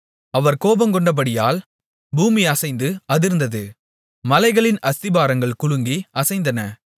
அவர் கோபங்கொண்டபடியால் பூமி அசைந்து அதிர்ந்தது மலைகளின் அஸ்திபாரங்கள் குலுங்கி அசைந்தன